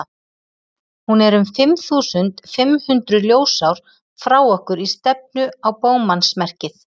hún er um fimm þúsund fimm hundruð ljósár frá okkur í stefnu á bogmannsmerkið